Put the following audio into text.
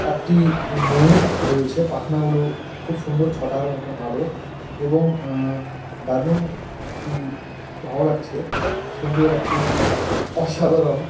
একটি ময়ূর রয়েছে পাখনাগুলো খুব সুন্দর ছটা র মতন আলো এবংঅ্যা- দারুন একটি ভালো লাগছে সুন্দর একটি অসাধারণ।